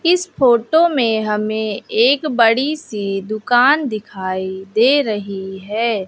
इस फोटो में हमें एक बड़ी सी दुकान दिखाई दे रही हैं।